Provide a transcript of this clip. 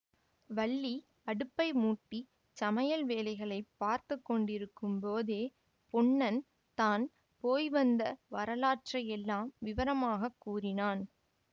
வள்ளி அடுப்பை மூட்டிச் சமையல் வேலைகளை பார்த்து கொண்டிருக்கும் போதே பொன்னன் தான் போய் வந்த வரலாற்றையெல்லாம் விவரமாகக் கூறினான்